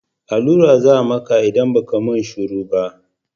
Allura za a maka in ba ka mun shuru ba